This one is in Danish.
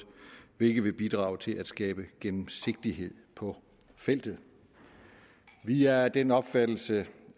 hvilket vil bidrage til at skabe gennemsigtighed på feltet vi er af den opfattelse